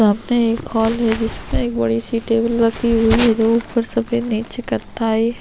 सामने एक हॉल है जिसमे एक बड़ी-सी टेबल रखी हुई है जो ऊपर से सफेद निचे कत्था है।